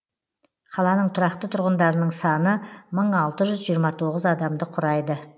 қаланың тұрақты тұрғындарының саны мың алты жүз жиырма тоғыз адамды құрайды